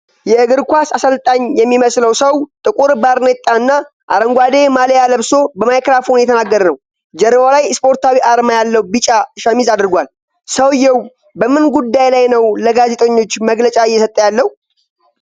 የእግር ኳስ አሠልጣኝ የሚመስለው ሰው፣ ጥቁር ባርኔጣና አረንጓዴ ማልያ ለብሶ በማይክሮፎን እየተናገረ ነው። ጀርባው ላይ ስፖርታዊ አርማ ያለው ቢጫ ሸሚዝ አድርጓል። ሰውየው በምን ጉዳይ ላይ ነው ለጋዜጠኞች መግለጫ እየሰጠ ያለው?